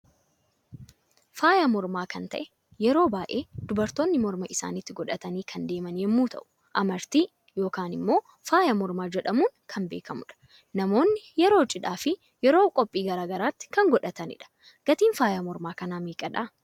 Faayaa morma kan ta'ee yeroo baay'ee dubartoonni morma isaanitti godhatani kan deeman yemmu ta'u, Amartii yookiin immoo faaya mormaa jedhamuudhan kan beekamudha. Namoonni yeroo cidhaa fi yeroo qophii garaagaraatti kan godhatanidha. Gatiin faaya morma kana meeqadha?